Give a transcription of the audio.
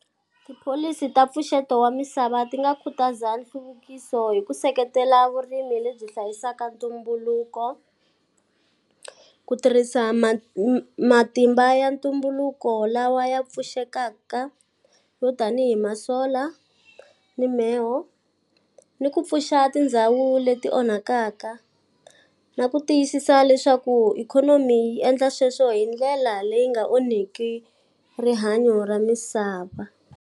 Tipholisi ta mpfuxeto wa misava ti nga khutaza nhluvukiso hi ku seketela vurimi lebyi hlayisaka ntumbuluko, ku tirhisa matimba ya ntumbuluko lawa ya pfuxekakaka yo tanihi ma-solar, mimheho, ni ku pfuxa tindhawu leti onhakaka. Na ku tiyisisa leswaku ikhonomi yi endla sweswo hi ndlela leyi nga onhaki rihanyo ra misava.